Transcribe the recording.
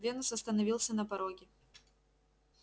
венус остановился на пороге